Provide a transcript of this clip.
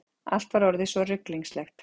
Allt var orðið svo ruglingslegt.